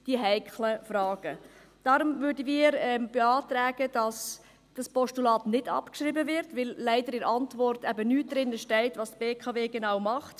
Deshalb beantragen wir, dass das Postulat nicht abgeschrieben wird, weil leider in der Antwort eben nichts darüber steht, was die BKW genau macht.